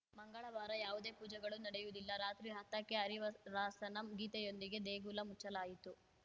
ಮಂಗಳವಾರ ಯಾವುದೇ ಪೂಜೆಗಳೂ ನಡೆಯುವುದಿಲ್ಲ ರಾತ್ರಿ ಹತ್ತಕ್ಕೆ ಹರಿವ ರಾಸನಂ ಗೀತೆಯೊಂದಿಗೆ ದೇಗುಲ ಮುಚ್ಚಲಾಯಿತು